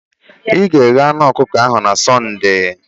Ị ga-eghe anụ ọkụkọ ahụ na Sọnde